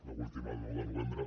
l’última el nou de novembre